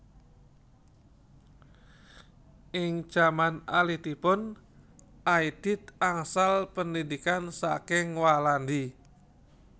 Ing jaman alitipun Aidit angsal pendhidhikan saking Walandi